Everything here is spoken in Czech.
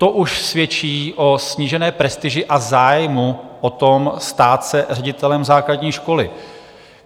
To už svědčí o snížené prestiži a zájmu o to, stát se ředitelem základní školy.